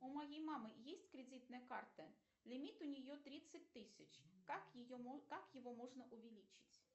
у моей мамы есть кредитная карта лимит у нее тридцать тысяч как ее как его можно увеличить